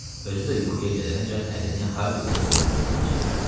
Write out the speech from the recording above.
Özü də yuxuya gedənəcən əlini Harrinin ovucundan çəkmədi.